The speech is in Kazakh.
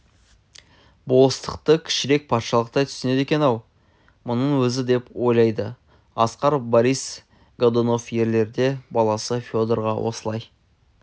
болыстықты кішірек патшалықтай түсінеді екен-ау мұның өзі деп ойлады асқар борис годунов елерде баласы федорға осылай